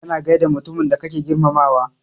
Kana gaida mutumin da kake girmamawa.